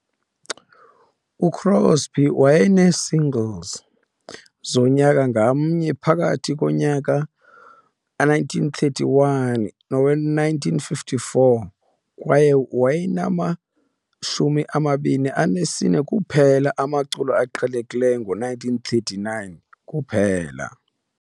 UCrosby wayenee-single singles zonyaka ngamnye phakathi konyaka we-1931 nowe-1954, kwaye wayenama-24 kuphela amaculo aqhelekileyo ngo-1939 kuphela.